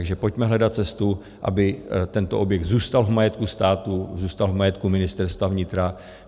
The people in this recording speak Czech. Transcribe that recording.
Takže pojďme hledat cestu, aby tento objekt zůstal v majetku státu, zůstal v majetku Ministerstva vnitra.